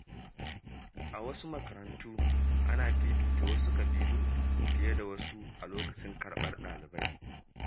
A wasu makarantu, ana fifita wasu kabilu fiye da wasu a lokacin karɓar ɗalibai.